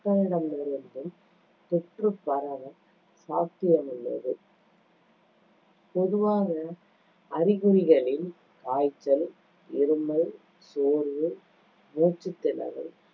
மக்களிடமிருந்தும் தொற்று பரவ சாத்தியமுள்ளது பொதுவாக அறிகுறிகளில் காய்ச்சல், இருமல், சோர்வு, மூச்சுத் திணறல்